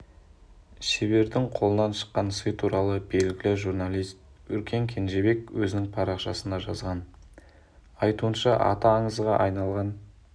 шебердің қолынан шыққан сый туралы белгілі журналист өркен кенжебек өзінің парақшасында жазған айтуынша аты аңызға айналған